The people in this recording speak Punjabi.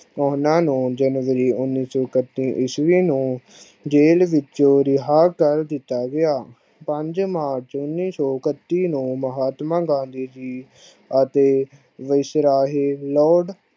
ਉਹਨਾਂ ਨੂੰ january ਉਨੀ ਸੋ ਇੱਕਤੀ ਇਸ਼ਵੀ ਜੇਲ ਵਿੱਚੋ ਰਿਹਾ ਕਰ ਦਿਤਾ ਗਿਆ ਪੰਜ march ਉਨੀ ਸੋ ਇੱਕਤੀ ਨੂੰ ਮਹਾਤਮਾ ਗਾਂਧੀ ਜੀ ਅਤੇ lord